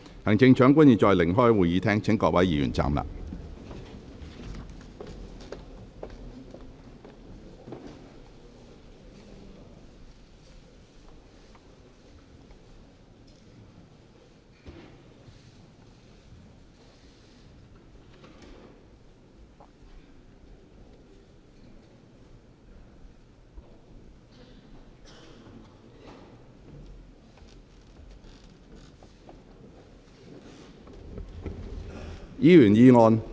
行政長官現在離開會議廳，請各位議員站立。